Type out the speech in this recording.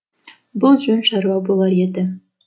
бұл жөн шаруа болар еді